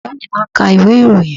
Baba mi máà ń ka ìwé ìròyìn.